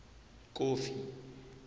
kofi